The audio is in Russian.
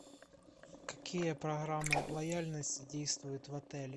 какие программы лояльности действуют в отеле